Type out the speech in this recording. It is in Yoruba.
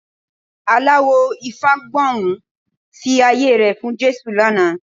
Aláwò Ifágbohùn fi ayé rẹ̀ fún Jésù lánàá